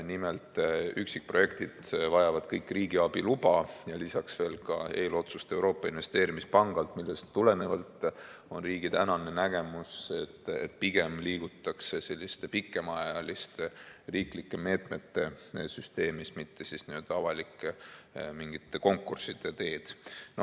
Nimelt, üksikprojektid vajavad kõik riigiabi luba ja lisaks veel ka eelotsust Euroopa Investeerimispangalt, millest tulenevalt on riigi tänane nägemus, et pigem liigutakse selliste pikemaajaliste riiklike meetmete süsteemis, mitte avalike konkursside teed pidi.